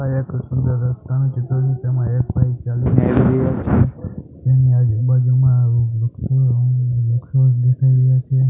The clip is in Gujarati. આ એક ચિત્ર છે તેમા એક ભાઈ ચાલીને આવી રહ્યા છે તેની આજુ બાજુમાં દેખાય રહ્યા છે.